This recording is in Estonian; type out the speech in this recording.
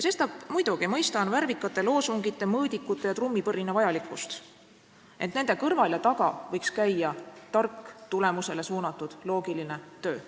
Sestap ma muidugi mõistan värvikate loosungite, mõõdikute ja trummipõrina vajalikkust, ent nende kõrval ja taga võiks käia tark, tulemusele suunatud ja loogiline töö.